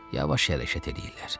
Yavaş hərəkət eləyirlər.